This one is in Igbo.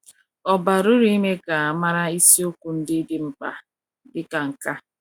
ọ bara ụrụ ime ka a mara isiokwu ndị dị mkpa dị ka nke a.